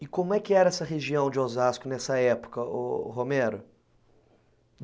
E como é que era essa região de Osasco nessa época, o Romero?